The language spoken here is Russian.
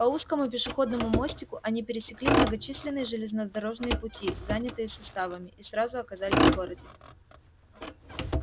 по узкому пешеходному мостику они пересекли многочисленные железнодорожные пути занятые составами и сразу оказались в городе